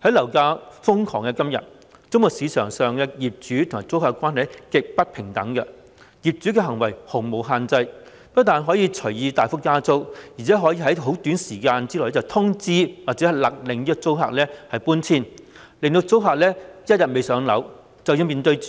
在樓價瘋狂的今天，租務市場上的業主及租客關係極不平等，業主的行為毫無限制，不但可以隨意大幅增加租金，而且可以在短時間內通知或飭令租客遷出，租客只要仍未"上樓"，便須不斷面對和